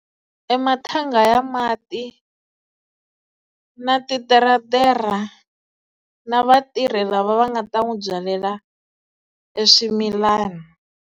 E mathanga ya mati na titeretera na vatirhi lava va nga ta n'wi byalela e swimilana.